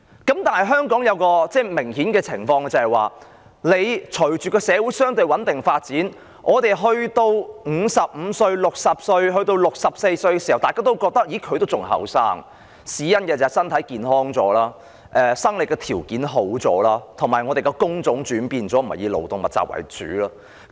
然而，香港有一種明顯的情況，也就是隨着社會相對穩定發展，大家覺得55歲、60歲、64歲的人還很年青，因為與上一代人比較，現在的人身體較健康了、生理條件也較好了，工種亦轉變了，不再以勞動密集為主。